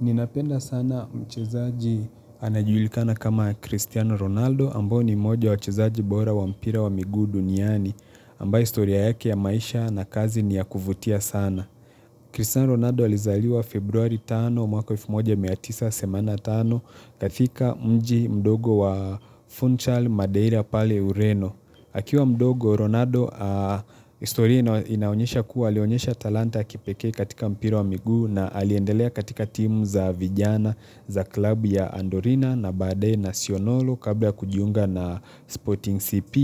Ninapenda sana mchezaji anajulikana kama Cristiano Ronaldo ambao ni mmoja wa wachezaji bora wa mpira wa miguu duniani ambaye historia yake ya maisha na kazi ni ya kuvutia sana. Cristiano Ronaldo alizaliwa Februari 5 mwaka wa elfu moja mia tisa semanini na tano katika mji mdogo wa Funchal Madeira pale Ureno. Akiwa mdogo, Ronaldo historia inaonyesha kuwa, alionyesha talanta ya kipeke katika mpira wa miguu na aliendelea katika timu za vijana za klabu ya Andorina na baadae nasionolo kabla kujiunga na Sporting CP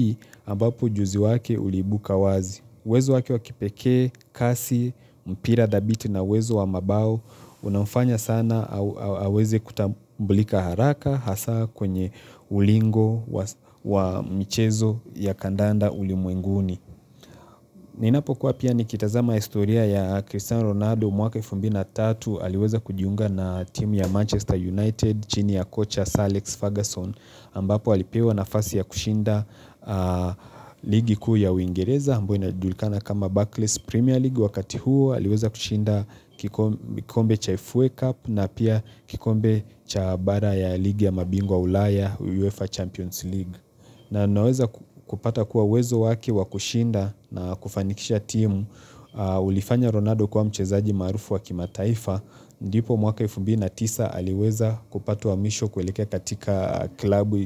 ambapo ujuzi wake uliibuka wazi. Uwezo wake wa kipekee, kasi, mpira dhabiti na uwezo wa mabao, unamfanya sana aweze kutambulika haraka hasa kwenye ulingo wa michezo ya kandanda ulimwenguni. Ninapokuwa pia nikitazama historia ya Cristiano Ronaldo mwaka elfu mbili na tatu aliweza kujiunga na team ya Manchester United chini ya kocha Alex Ferguson ambapo alipewa nafasi ya kushinda ligi kuu ya uingereza ambayo inajulikana kama Barclays Premier League wakati huo aliweza kushinda kikombe cha FA Cup na pia kikombe cha bara ya ligi ya mabingu wa ulaya UEFA Champions League. Na naweza kupata kuwa uwezo wake wa kushinda na kufanikisha timu ulifanya Ronaldo kuwa mchezaji maarufu wa kimataifa ndipo mwaka elfu mbili na tisa aliweza kupata wa mwisho kuelekea katika klabu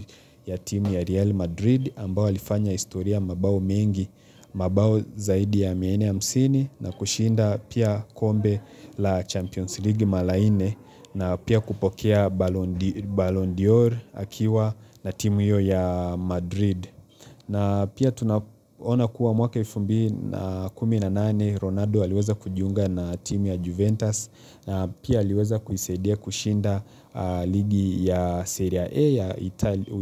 ya timu ya Real Madrid ambayo alifanya historia mabao mengi, mabao zaidi ya mia nne hamsini na kushinda pia kombe la Champions League mara nne na pia kupokea Ballon d'Or akiwa na timu hiyo ya Madrid na pia tunaona kuwa mwaka elfu mbili na kumi na nane Ronaldo aliweza kujiunga na timu ya Juventus na pia aliweza kuisaidia kushinda ligi ya Serie A ya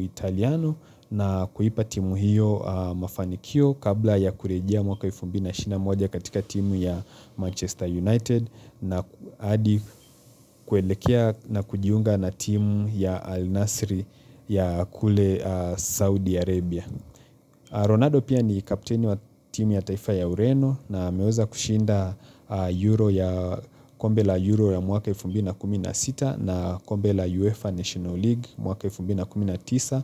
Italiano na kuipa timu hiyo mafanikio Kabla ya kurejea mwaka elfu mbili na ishirini na moja katika timu ya Manchester United na hadi kuelekea na kujiunga na timu ya al-Nasri ya kule Saudi Arabia. Ronaldo pia ni kapteni wa timu ya taifa ya Ureno na ameweza kushinda Euro ya kombe la Euro ya mwaka elfu mbili na kumi na sita na kombe la UEFA National League mwaka elfu mbili na kumi na tisa.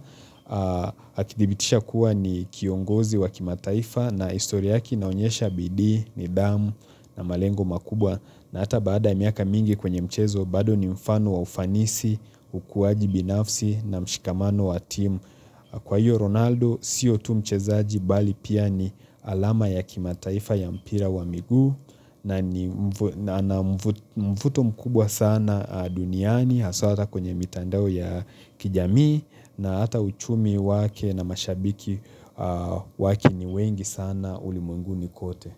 Akidhibitisha kuwa ni kiongozi wa kimataifa na historia yake inaonyesha bidii, nidhamu, na malengo makubwa na hata baada miaka mingi kwenye mchezo bado ni mfano wa ufanisi, ukuwaji binafsi na mshikamano wa team. Kwa hiyo Ronaldo sio tu mchezaji bali pia ni alama ya kimataifa ya mpira wa miguu na na mvuto mkubwa sana duniani haswa hata kwenye mitandao ya kijamii na hata uchumi wake na mashabiki wake ni wengi sana ulimenguni kote.